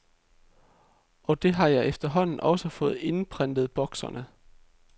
Og det har jeg efterhånden også fået indprentet bokserne.